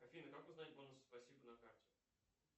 афина как узнать бонусы спасибо на карте